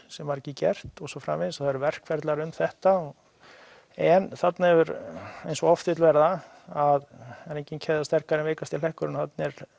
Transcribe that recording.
sem var ekki gert og svo framvegis það eru verkferlar um þetta en þarna hefur eins og oft vill verða að það er engin keðja sterkari en veikasti hlekkurinn og